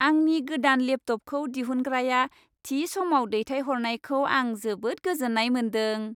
आंनि गोदान लेपटपखौ दिहुनग्राया थि समाव दैथायहरनायखौ आं जोबोद गोजोन्नाय मोन्दों।